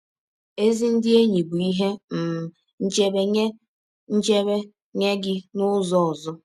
Ezi ndị enyi bụ ihe um nchebe nye nchebe nye gị n’ụzọ ọzọ.